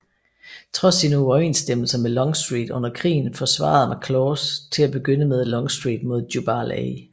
Trods sine uoverensstemmelser med Longstreet under krigen forsvarede McLaws til at begynde med Longstreet mod Jubal A